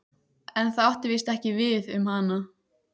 En það átti víst ekki við um hana.